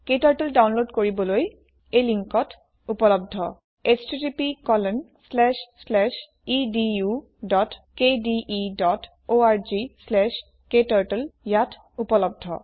ক্টাৰ্টল download কৰিবলৈ এই লিন্কত httpedukdeorgkturtleত উপলব্ধ